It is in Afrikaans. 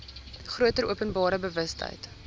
groter openbare bewustheid